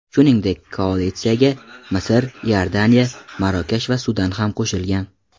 Shuningdek, koalitsiyaga Misr, Iordaniya, Marokash va Sudan ham qo‘shilgan.